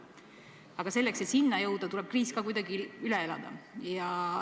Aga selleks, et sinna jõuda, tuleb kriis kuidagi üle elada.